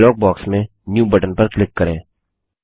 dialogue box में new button पर click करें